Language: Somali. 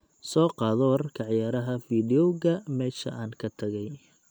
soo qaado wararka ciyaaraha fiidiyooga meesha aan ka tagay